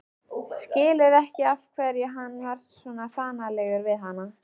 Skilur ekki af hverju hann var svona hranalegur við hana.